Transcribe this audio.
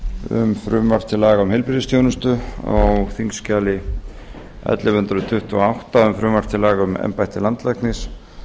um frumvarp til laga um heilbrigðisþjónustu á þingskjali ellefu hundruð tuttugu og átta um frumvarp til laga um embætti landlæknis